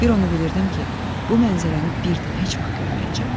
Bir onu bilirdim ki, bu mənzərəni bir də heç vaxt görməyəcəm.